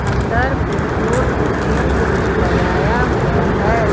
अंदर petrol machine भी लगाया हुआ है।